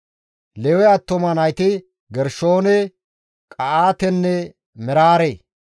Lewe attuma nayti Gershoone, Qa7aatenne Meraare.